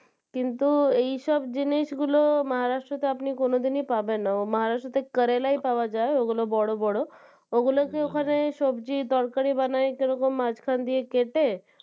কিন্তু এইসব জিনিস গুলো Maharashtra তে আপনি কোনোদিনই পাবেন না Maharashtra তে কারেলাই পাওয়া যায় ওগুলো বড় বড় ওগুলো যে ওখানে সবজি তরকারি বানায় সেরকম মাঝখান দিয়ে কেটে,